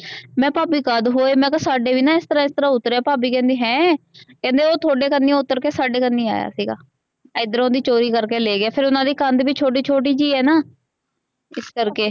ਮੈਂ ਭਾਭੀ ਕਦ ਹੋਏ ਮੈਂ ਕੇਹਾ ਸਾਡੇ ਵੀ ਇਸਤਰਾ ਇਸਤਰਾ ਉਤਰੇ ਭਾਭੀ ਕਹਿੰਦੀ ਹੈਂ ਕਹਿੰਦੀ ਓਹ ਥੋਡੇ ਕਨਿਓ ਉਤਰ ਕੇ ਸਾਡੇ ਕਾਨੀ ਆਇਆ ਸੀਗਾ ਇਧਰੋ ਦੀ ਚੋਰੀ ਕਰਕੇ ਲੈ ਗਿਆ ਫੇਰ ਓਹਨਾ ਦੀ ਕੰਧ ਵੀ ਛੋਟੀ ਛੋਟੀ ਜੀ ਆ ਨਾ ਇਸ ਕਰਕੇ।